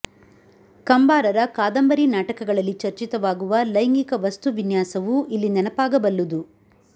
ಕಂಬಾರರ ಕಾದಂಬರಿ ನಾಟಕಗಳಲ್ಲಿ ಚರ್ಚಿತವಾಗುವ ಲೈಂಗಿಕ ವಸ್ತುವಿನ್ಯಾಸವೂ ಇಲ್ಲಿ ನೆನಪಾಗ ಬಲ್ಲುದು